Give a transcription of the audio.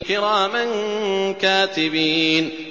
كِرَامًا كَاتِبِينَ